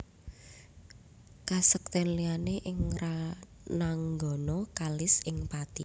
Kasektèn liyané ing rananggana kalis ing pati